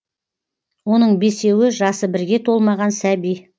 оның бесеуі жасы бірге толмаған сәби